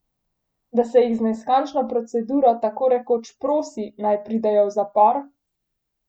Da se jih z neskončno proceduro tako rekoč prosi, naj pridejo v zapor?